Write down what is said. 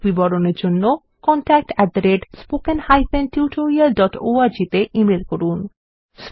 অধিক বিবরণের জন্য contactspoken tutorialorg তে ইমেল করুন